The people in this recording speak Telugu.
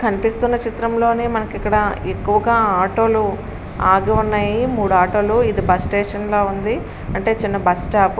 కనిపిస్తున్న చిత్రం లో మనకి ఇక్కడ ఎక్కువుగా ఆటో లు ఆగి ఉన్నాయి. మూడు ఆటో లు ఇది బస్ స్టేషన్ లా ఉంది. అంటే చిన్న బస్ స్టాప్ --